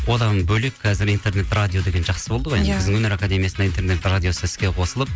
одан бөлек қазір интернет радио деген жақсы болды ғой иә біздің өнер академиясында интернет радиосы іске қосылып